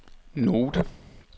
note